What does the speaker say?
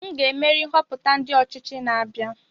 Aga m emeri nhoputa ndi ochichi na-abia